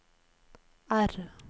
R